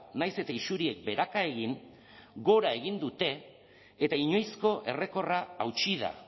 nahiz eta isuriek beheraka egin gora egin dute eta inoizko errekorra hautsi da